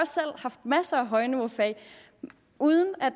selv haft masser af højniveaufag uden at